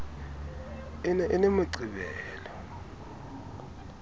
e ne e le moqebelo